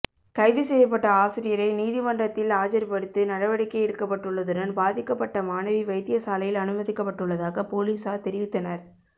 கைதுசெய்யப்பட்ட ஆசிரியரை நீதிமன்றத்தில் ஆஜர்படுத்து நடவடிக்கை எடுக்கப்பட்டுள்ளதுடன் பாதிக்கப்பட்ட மாணவி வைத்தியசாலையில் அனுமதிக்கப்பட்டுள்ளதாக பொலிசார் தெரிவித்தனர்